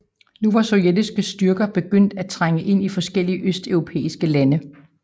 Nu var sovjetiske styrker begyndt at trænge ind i forskellige østeuropæiske lande